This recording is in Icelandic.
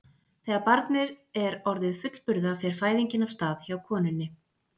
Þegar barnið er orðið fullburða fer fæðingin af stað hjá konunni.